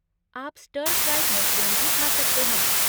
आप stir fried mushroom भी खा सकते हैं।